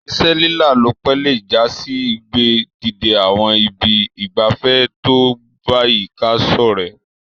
Ìse lílálòpẹ́ le jasí ìgbé dìde àwon ibi ìgbafé to bayika sorẹ́